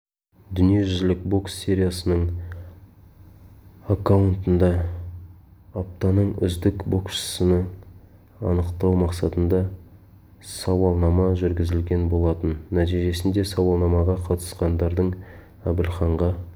дүниежүзілік бокс сериясының аккаунтында аптаның үздік боксшысын анықтау мақсатында сауалнама жүргізілген болатын нәтижесінде сауалнамаға қатысқандардың әбілханға